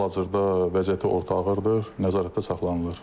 Hal-hazırda vəziyyəti orta ağırdır, nəzarətdə saxlanılır.